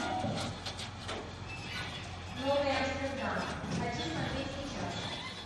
новый амстердам хочу смотреть сейчас